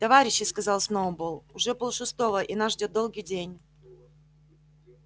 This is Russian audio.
товарищи сказал сноуболл уже полшестого и нас ждёт долгий день